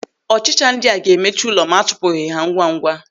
Ọchịcha ndị a ga-emechu ụlọ ma a chụpụghị ha ngwa ngwa.